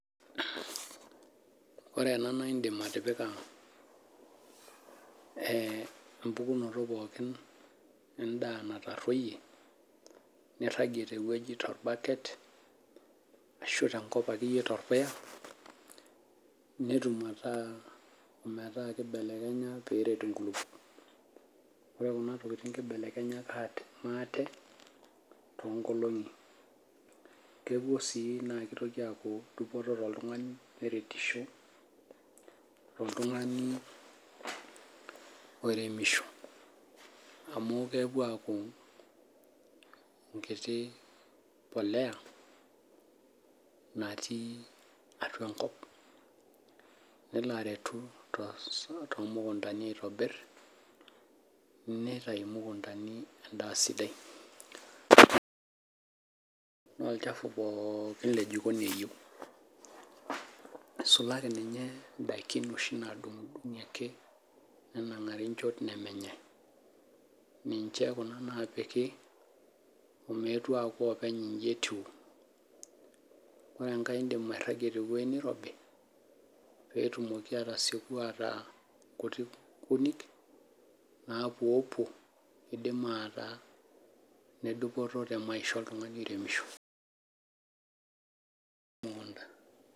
Ore ena naidim atipika empukunoto pookin endaa natarruoyie, nirragie tewoi torbaket, ashu tenkop akeyie torpuya, etum ataa metaa kibelekenya peret inkulukuok. Ore kuna tokiting kibelekenya maate, tonkolong'i. Kepuo si na kitoki aku dupoto toltung'ani neretisho, toltung'ani oiremisho. Amu kepuo aku enkiti polea, natii atua enkop. Nelo aretu tomukuntani aitobir, nitayu imukuntani endaa sidai. No olchafu pookin lejikoni eyieu. Isulaki ninye idaikin oshi nadung'dung'i ake, nenang'ari nchop nemenyai. Ninche kuna napiki ometu aku openy iji etiu. Ore enkai idim airragie tewoi nirobi, petumoki atasieku ataa kunik napuopuo, pidim ataa nedupoto temaisha oltung'ani oiremisho, temukunta.